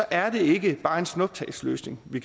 er det ikke bare en snuptagsløsning vi